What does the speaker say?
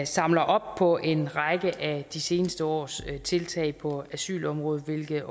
samler op på en række af de seneste års tiltag på asylområdet hvilket